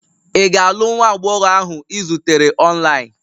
Ị ga-alụ nwa agbọghọ ahụ ị zutere online?